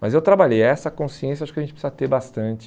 Mas eu trabalhei essa consciência, acho que a gente precisa ter bastante.